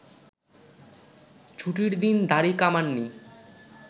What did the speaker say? ছুটির দিন দাড়ি কামাননি